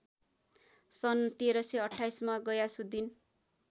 सन् १३२८ मा गयासुद्धिन